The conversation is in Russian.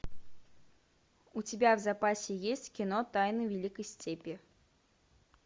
у тебя в запасе есть кино тайны великой степи